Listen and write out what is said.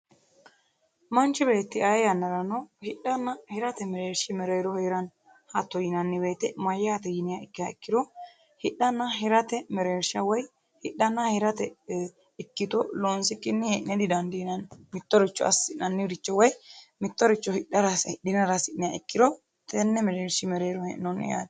Manchi beetti ayee woyiiteno hidhana hirate mereerishi mereero heeranno korkaatuno hidhana hirate mereerishi Woyi ikkito loonsikki hee'ne didandiinanni.